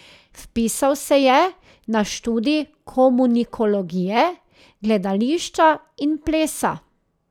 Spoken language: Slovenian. Vpisal se je na študij komunikologije, gledališča in plesa.